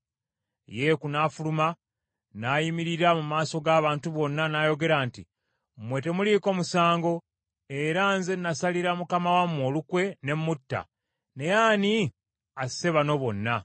Yeeku n’afuluma, n’ayimirira mu maaso g’abantu bonna n’ayogera nti, “Mmwe temuliiko musango, era nze nasalira mukama wange olukwe ne mutta, naye ani asse bano bonna?